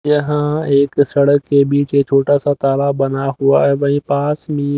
यहां एक सड़क के बीच एक छोटा सा तारा बना हुआ है वही पास में--